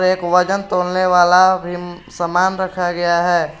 एक वजन तोलने वाला भी सामान रखा गया है।